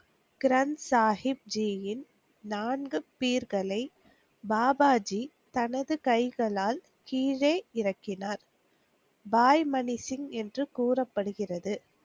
கிரண் சாகிப்ஜியின் நான்கு பீர்களை பாபாஜி தனது கைகளால் கீழே இறக்கினார். பாய்மனிசிங் என்று கூறப்படுகிறது.